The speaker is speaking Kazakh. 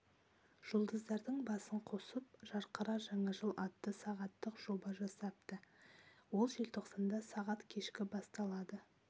жұлдыздардың басын қосып жарқыра жаңа жыл атты сағаттық жоба жасапты ол желтоқсанда сағат кешкі басталады